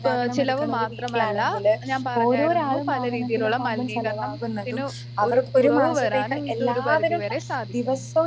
ഏഹ് ചിലവ് മാത്രമല്ല ഞാൻ പറഞ്ഞായിരുന്നു പലരീതിയിലുള്ള മലിനീകരണം ത്തിന് ഒരു കുറവ് വരാനും ഇത് ഒരു പരിധി വരെ സാധിക്കും.